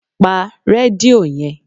pa redio yen!